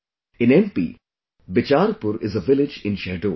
In MP, Bicharpur is a village in Shahdol